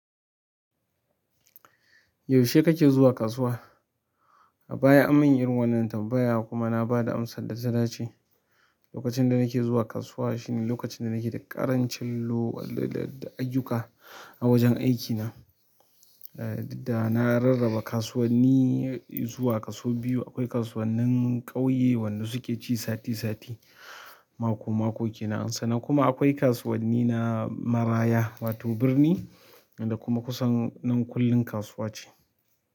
Yaushe kake zuwa kasuwa? A baya an min irin wannan tambaya kuma na ba da amsa data dace. Lokacin da nake zuwa kasuwa shine lokacin da nake da ƙarin cillo da, da ayyuka a wajen aikina. Eh didda na rarraba kasuwanni zuwa kaso biyu. Akwai kasuwannin ƙauye wanda suke ci sati sati, mako mako kenan sannan kuma akwai kasuwanni na maraya wato birni da kuma kusan nan kullum kasuwa ce.